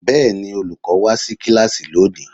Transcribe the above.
Bẹ́ẹ̀ni olùkọ́ wá sí kíláàsì lónìí.